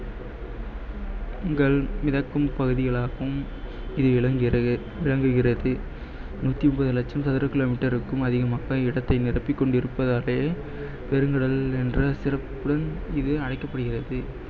உங்கள் மிதக்கும் பகுதிகளாகவும் இது விளங்கிறது~ விளங்குகிறது நூத்தி முப்பது லட்சம் சதுர kilometer க்கும் அதிகமாக இடத்தை நிரப்பிக் கொண்டிருப்பதாலயே பெருங்கடல் என்ற சிறப்புடன் இது அழைக்கப்படுகிறது